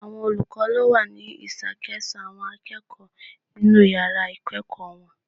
Àwọn olùkọ́ ló wà ní ìṣàkóso àwọn akẹ́kọ̀ọ́ inú yàrá ìkẹ́ẹ̀kọ̀ wọn.